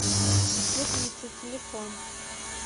светлица телефон